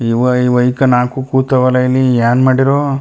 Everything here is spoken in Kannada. ಈವ್ ಇವ್ಯಕ್ ನಾಕು ಕೂತವಲ್ಲಾ ಇಲ್ಲಿ ಏನ್ ಮಾಡಿರೋ.